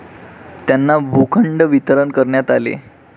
त्यांना भूखंड वितरण करण्यात आले.